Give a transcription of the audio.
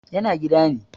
yana gida ne